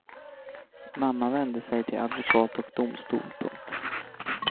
Mamman vände sig till advokat och domstol. punkt